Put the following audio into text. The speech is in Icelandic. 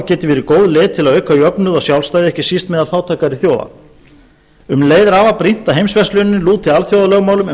og geti verið góð leið til að auka jöfnuð og sjálfstæði ekki síst meðal fátækari þjóða um leið er afar brýnt að heimsverslunin lúti alþjóðalögmálum um